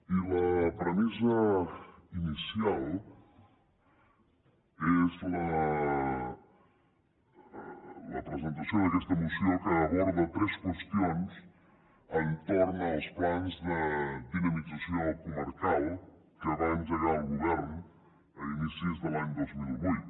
i la premissa inicial és la presentació d’aquesta moció que aborda tres qüestions entorn als plans de dinamització comarcal que va engegar el govern a inicis de l’any dos mil vuit